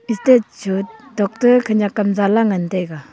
stete chu tokta khenyak kam zala ngan taiga.